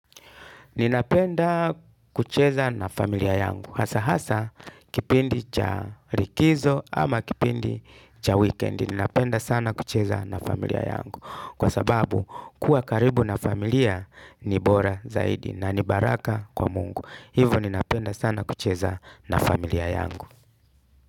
Ninapenda kucheza na familia yangu hasa hasa kipindi cha rikizo ama kipindi cha wikendi. Ninapenda sana kucheza na familia yangu, kwa sababu kuwa karibu na familia ni bora zaidi na ni baraka kwa Mungu hivo ninapenda sana kucheza na familia yangu.